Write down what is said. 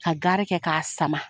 Ka gari kɛ ka sama.